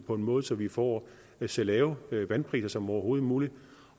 på en måde så vi får så lave vandpriser som overhovedet muligt